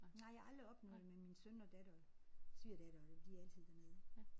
Nej jeg har aldrig oplevet det men min søn og datter svigerdatter de er altid dernede